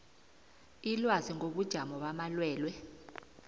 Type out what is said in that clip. ilwazi ngobujamo bamalwelwe